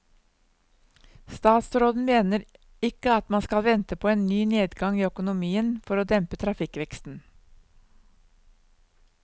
Statsråden mener ikke at man skal vente på en ny nedgang i økonomien for å dempe trafikkveksten.